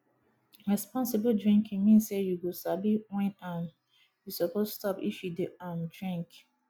responsible drinking mean say you go sabi when um you suppose stop if you dey um drink